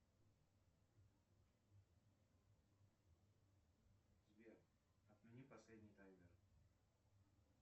сбер отмени последний таймер